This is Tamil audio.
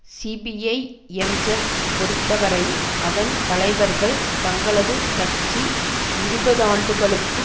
சிபிஜ எம்ஐப் பொருத்த வரை அதன் தலைவர்கள் தங்களது கட்சி இருபதாண்டுகளுக்கும்